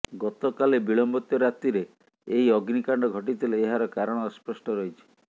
ଗତକାଲି ବିଳମ୍ବିତ ରାତିରେ ଏହି ଅଗ୍ନିକାଣ୍ଡ ଘଟିଥିଲେ ଏହାର କାରଣ ଅସ୍ପଷ୍ଟ ରହିଛି